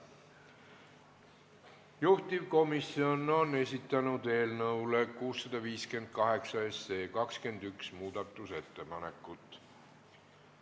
Juhtivkomisjon on esitanud eelnõu 658 kohta 21 muudatusettepanekut.